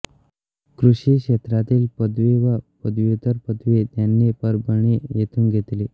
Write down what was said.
कृषी क्षेत्रातील पदवी व पदव्युत्तर पदवी त्यांनी परभणी येथून घेतली